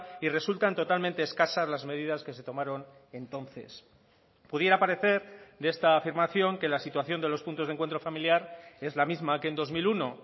y resultan totalmente escasas las medidas que se tomaron entonces pudiera parecer de esta afirmación que la situación de los puntos de encuentro familiar es la misma que en dos mil uno